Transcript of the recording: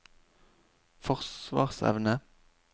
forsvarsevne